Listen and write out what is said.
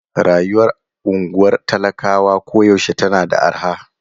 Rayuwar unguwar talakawa koyaushe tana da arha.